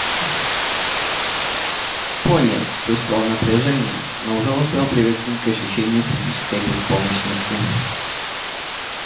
пониетс чувствовал напряжение но уже успел привыкнуть к ощущению физической беспомощности